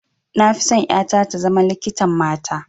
Na fi son ƴata ta zama likitan mata